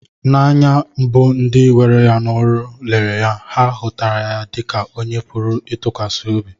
N'anya mbu ndị were ya n'ọrụ lere ya, ha hutara dị ka onye a pụrụ ịtụkwasị